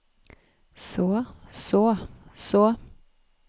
så så så